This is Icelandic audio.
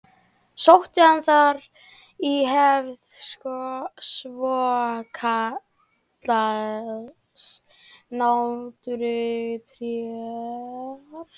Sótti hann þar í hefð svokallaðs náttúruréttar.